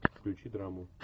включи драму